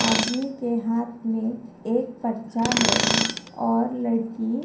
पीछे की दीवार पर भगत सिंह की फोटो टंगी हुई नज़र आ रही है।